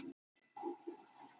Sanngjörn úrslit.